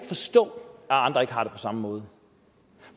forstå at andre ikke har det på samme måde